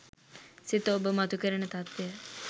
සිත ඔබ මතුකරන තත්වය